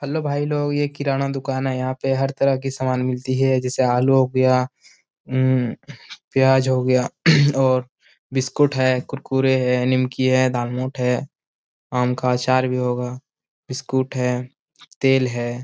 Hello भाई लोग यह किराना दुकान है जहाँ पर हर तरह के समान मिलती है जैसे आलू प्याज और बिस्किुट है कुरकुरे है नीमकी है दालमोट है आम का अचार भी होगा बिस्किुट है तेल है।